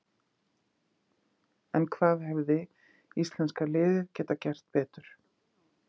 En hvað hefði íslenska liðið geta gert betur?